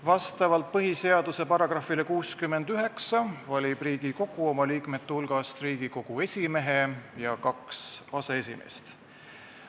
Vastavalt põhiseaduse §-le 69 valib Riigikogu oma liikmete hulgast Riigikogu esimehe ja kaks aseesimeest.